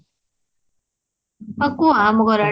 ଆଉ କୁହ ଆମଘର ଆଡେ